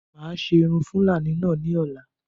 Máa ṣe irun Fúlàní náà ní ọ̀la